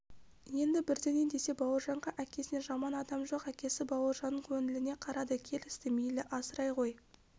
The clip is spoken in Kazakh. енді бірдеңе десе бауыржанға әкесінен жаман адам жоқ әкесі бауыржанның көңіліне қарады келісті мейлі асырай ғой